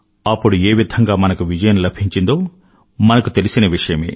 అప్పుడు ఏ విధంగా మనకు విజయం లభించిందో మనకు తెలిసిన విషయమే